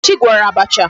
Nkechi gwọrọ abacha.